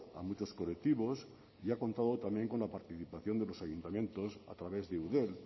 a muchos colectivos y ha contado también con la participación de los ayuntamientos a través de eudel